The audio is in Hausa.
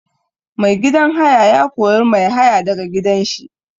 Mai gidan haya ya kori mai haya da ga gidan shi.